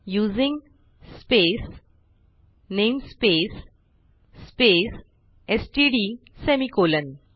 using space namespace space STD semicolon